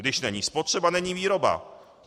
Když není spotřeba, není výroba.